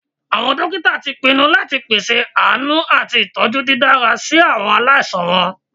Awọn dokita ti pinnu lati pese aanu ati itọju didara si awọn alaisan wọn.